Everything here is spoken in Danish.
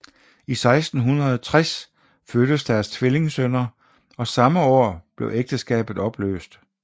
I 1660 fødtes deres tvillingsønner og samme år blev ægteskabet opløst